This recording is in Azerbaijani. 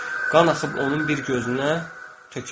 Qan axıb onun bir gözünə tökülürdü.